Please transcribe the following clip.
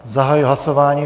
Zahajuji hlasování.